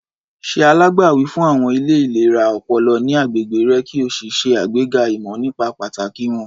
Ṣe alágbàwí fún àwọn ilé ìlera ọpọlọ ní agbègbè rẹ kí o ṣe àgbega ìmọ̀ nípa pàtàkì wọ́n.